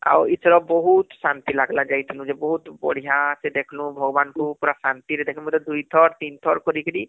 ଆଉ ଇଥର ବହୁତ ଶାନ୍ତି ଲାଗିଲା ଯାଇଥିନୁ ଯେ ବହୁତ ବଢିଆ ସେ ଦେଖଃଲୁ ଭଗବାନ ଙ୍କୁ ପୁରା ଶାନ୍ତି ରେ ଦେଖ.. ମୁଇଁ ତ ଦୁଇ ଥର ତିନି ଥର କରୀକିରି